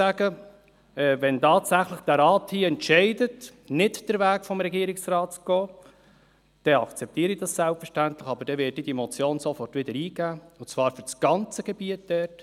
Wenn der Rat hier tatsächlich entscheidet, nicht den Weg des Regierungsrates zu gehen, akzeptiere ich das selbstverständlich, werde aber die Motion sofort wieder eingeben und zwar für das ganze Gebiet.